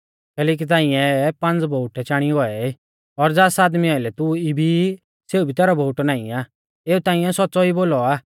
कैलैकि तांई ऐ पांज़ बोउटै चाणी गौऐ ई और ज़ास आदमी आइलै तू इबी ई सेऊ भी तैरौ बोउटौ नाईं आ एऊ तांइऐ सौच़्च़ौ ई बोलौ आ